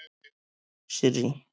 Sirrý